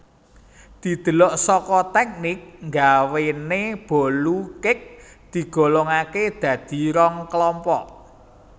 Didelok saka teknik nggawéne bolu cake digolongakè dadi rong kelompok